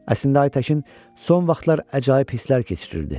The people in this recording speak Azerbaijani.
Əslində Aytəkin son vaxtlar əcaib hisslər keçirirdi.